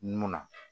Mun na